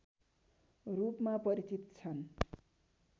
रूपमा परिचित छन्